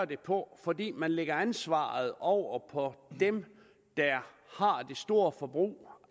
det på fordi man lægger ansvaret over på dem der har det store forbrug